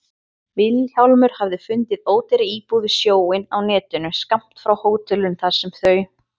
Vilhjálmur hafði fundið ódýra íbúð við sjóinn á netinu, skammt frá hótelinu þar sem þau